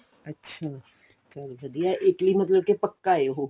ਅੱਛਾ ਚਲ ਵਧੀਆਂ Italy ਮਤਲਬ ਪੱਕਾ ਏ ਉਹ